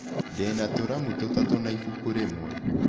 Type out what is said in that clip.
Ndĩ na tũramu tũtatũ na ibuku rĩmwe.